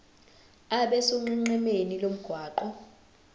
abe sonqenqemeni lomgwaqo